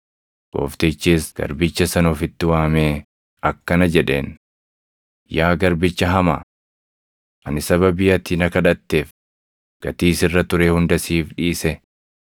“Gooftichis garbicha sana ofitti waamee akkana jedheen; ‘Yaa garbicha hamaa! Ani sababii ati na kadhatteef gatii sirra ture hunda siif dhiise.